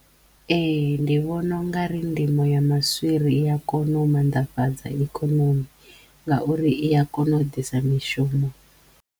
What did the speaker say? Ehe ndi vhona u nga ri ndimo ya maswiri i ya kona u mannḓafhadza ikhonomi ngauri i ya kona u ḓisa mishumo.